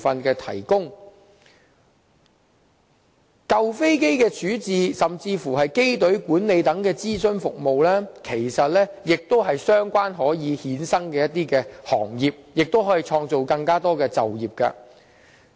而舊飛機的處置，甚至是機隊管理等的諮詢服務，其實亦可成為相關衍生行業，為社會創造更多就業機會。